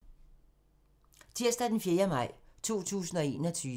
Tirsdag d. 4. maj 2021